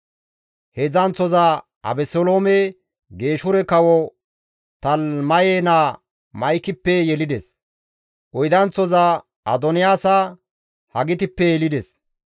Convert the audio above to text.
Heedzdzanththoza Abeseloome Geeshure kawo Talimaye naa Ma7ikippe yelides. Oydanththoza Adoniyaasa Hagitippe yelides.